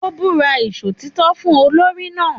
Ó ń búra Ìṣòtítọ́ fún olórí náà